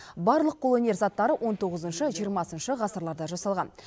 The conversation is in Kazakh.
барлық қолөнер заттары он тоғызыншы жиырмасыншы ғасырларда жасалған